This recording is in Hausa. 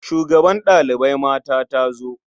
Shugabar ɗalibai mata ta zo.